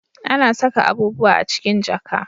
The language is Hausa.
A na saka abubuwa a cikin jaka